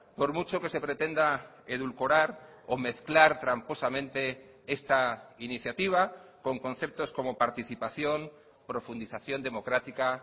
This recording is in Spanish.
por mucho que se pretenda edulcorar o mezclar tramposamente esta iniciativa con conceptos como participación profundización democrática